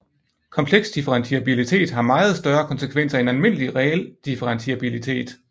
Kompleks differentiabilitet har meget større konsekvenser end almindelig reel differentiabilitet